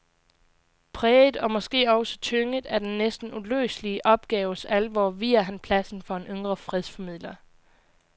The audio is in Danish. Præget og måske også tynget af den næsten uløselige opgaves alvor viger han pladsen for en yngre fredsformidler.